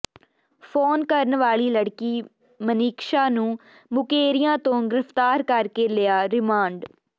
phone ਕਰਨ ਵਾਲੀ ਲੜਕੀ ਮਨੀਕਸ਼ਾ ਨੂੰ ਮੁਕੇਰੀਆਂ ਤੋਂ ਗਿ੍ਫ਼ਤਾਰ ਕਰ ਕੇ ਲਿਆ ਰਿਮਾਂਡ